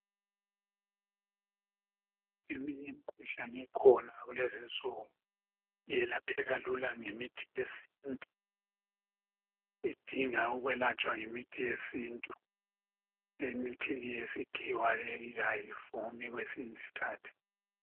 Eminye imikhuhlane ekhona kulezi insuku, alapheka lula ngemithi yesintu. Idinga ukwelatshwa ngemithi yesintu, emithini eyesikhiwa leyi ayivumi kwesinye iskhathi.